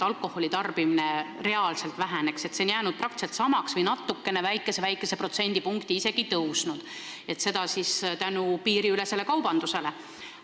Alkoholi tarbimine ei ole reaalselt vähenenud, see on jäänud praktiliselt samaks või natukene, protsendipunktikese isegi tõusnud piiriülese kaubanduse tõttu.